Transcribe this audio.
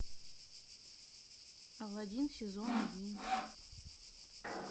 алладин сезон один